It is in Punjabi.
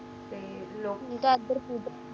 ਤੇ ਲੋਕੀ ਦਾਦਰ ਪੂਜਾ